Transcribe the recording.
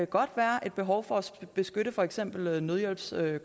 godt være et behov for at beskytte for eksempel nødhjælpskonvojer